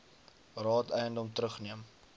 raad eiendom terugneem